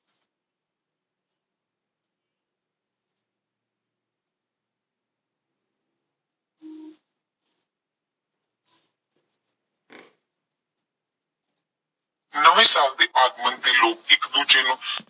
ਨਵੇਂ ਸਾਲ ਦੇ ਆਗਮਨ ਤੇ ਲੋਕ ਇੱਕ ਦੂਜੇ ਨੂੰ